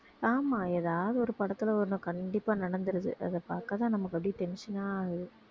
ஆமா எதாவது ஒரு படத்துல ஒண்ணு கண்டிப்பா நடந்துருது அதை பாக்கத்தான் நமக்கு அப்படியே tension ஆகுது